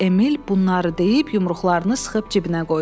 Emil bunları deyib yumruqlarını sıxıb cibinə qoydu.